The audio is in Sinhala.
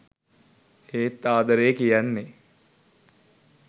ඒත් ආදරේ කියන්නේ .